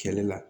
Kɛlɛ la